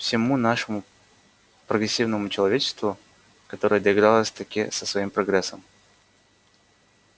всему нашему прогрессивному человечеству которое доигралось-таки со своим прогрессом